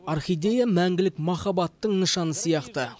орхидея мәңгілік махабаттың нышаны сияқты